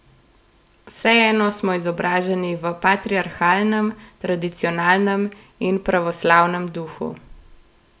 Vseeno smo izobraženi v patriarhalnem, tradicionalnem in pravoslavnem duhu.